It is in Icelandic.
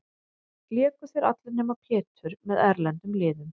Léku þeir allir, nema Pétur, með erlendum liðum.